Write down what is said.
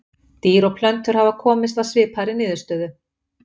Dýr og plöntur hafa komist að svipaðri niðurstöðu.